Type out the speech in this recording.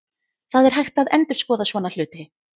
Það er hægt að endurskoða svona hluti.